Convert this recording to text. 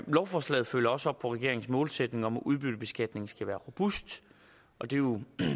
lovforslaget følger også op på regeringens målsætning om at udbyttebeskatning skal være robust og det er jo